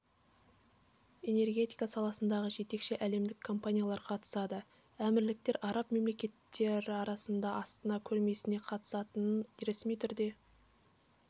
энергетика саласындағы жетекші әлемдік компаниялар қатысады әмірліктер араб мемлекеттері арасынан астана көрмесіне қатысатынын ресми түрде